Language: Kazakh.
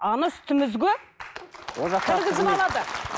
ана үсітімізге кіргізіп алады